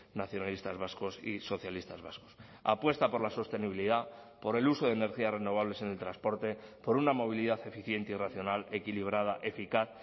nacionalistas vascos y socialistas vascos apuesta por la sostenibilidad por el uso de energías renovables en el transporte por una movilidad eficiente y racional equilibrada eficaz